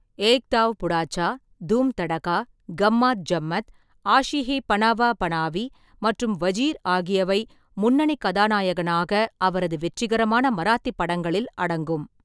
ஏக் தாவ் புடாச்சா, தூம் தடகா, கம்மாத் ஜம்மத், ஆஷி ஹி பனாவா பனாவி மற்றும் வஜீர் ஆகியவை முன்னணி கதாநாயகனாக அவரது வெற்றிகரமான மராத்தி படங்களில் அடங்கும்.